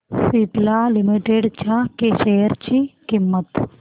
Cipla limited च्या share ची किंमत